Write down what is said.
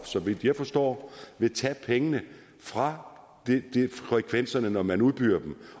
så vidt jeg forstår tage pengene fra frekvenserne når man udbyder dem